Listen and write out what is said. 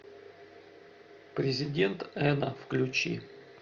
президент эно включи